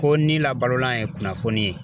Ko ni labalolan ye kunnafoni ye.